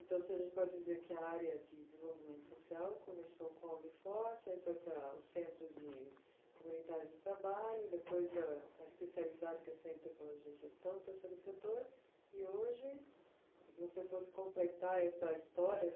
Então, se a gente pode dizer que a área de desenvolvimento social começou com a Uni Forte, aí foi para o Centro de Comunitário de Trabalho, depois a especializada, que é o Centro de Tecnologia e Gestão do Terceiro Setor, e hoje, se você fosse completar essa história,